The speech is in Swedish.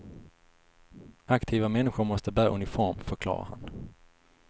Aktiva människor måste bära uniform, förklarar han.